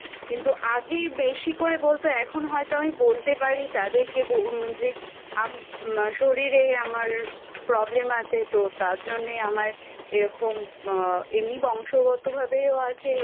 কিন্তু আগে বেশি করে বলত এখন আমি হয়তো বলতে পারি তাদেরকে ব যে আম শরীরে আমার Problem আছে তো তার জন্যে আমার এরকম আ এমনি বংশগতভাবেও আছে